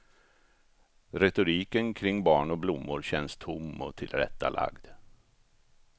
Retoriken kring barn och blommor känns tom och tillrättalagd.